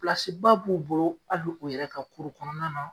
b'u bolo hali o yɛrɛ ka kɔnɔna na